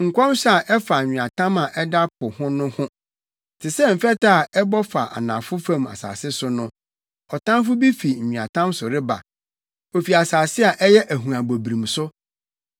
Nkɔmhyɛ a ɛfa Nweatam a ɛda Po ho no ho: Te sɛ mfɛtɛ a ɛbɔ fa anafo fam asase so no, ɔtamfo bi fi nweatam so reba, ofi asase a ɛyɛ ahuabɔbrim so.